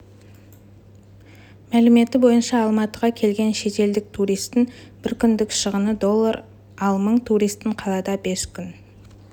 мәліметі бойынша алматыға келген шетелдік туристің бір күндік шығыны доллар ал мың турист қалада бес күн